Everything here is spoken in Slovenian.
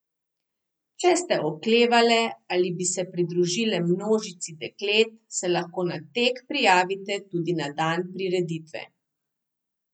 Če ste oklevale, ali bi se pridružile množici deklet, se lahko na tek prijavite tudi na dan prireditve.